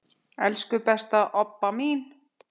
Elsku besta Obba mín.